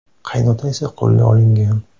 Qaynota esa qo‘lga olingan.